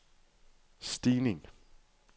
stigning